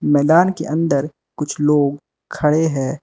मैदान के अंदर कुछ लोग खड़े हैं।